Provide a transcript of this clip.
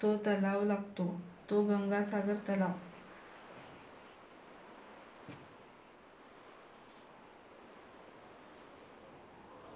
तो तलाव लागतो. तो गंगासागर तलाव.